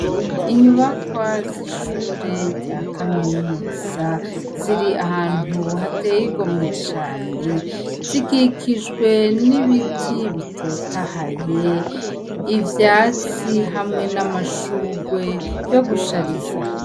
Inyubakwa zishure za kaminuza ziri ahantu hateye igomwe cane zikikijwe nibiti bitotahaye ivyatsi hamwe namashurwe yo gushariza.